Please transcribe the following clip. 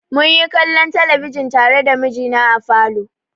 Mun yi kallon talabijin tare da mijina a falo.